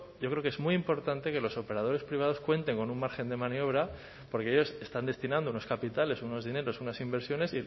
yo creo que es muy importante que los operadores privados cuenten con un margen de maniobra porque ellos están destinando unos capitales unos dineros unas inversiones